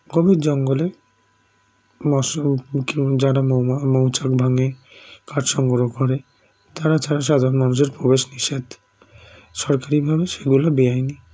গভীর জঙ্গলে মৎস মুখী যারা মৌমা মৌচাক ভাঙে কাঠসংগ্ৰহ করে তারা ছাড়া সাধারণ মানুষের প্রবেশ নিষেধ সরকারি ভাবে সেগুলো বেআইনি